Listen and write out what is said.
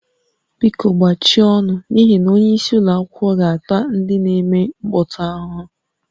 Biko gbachie ọnụ n'ihi na onyeisi ụlọ akwụkwọ ga-ata ndị na-eme mkpọtụ ahụhụ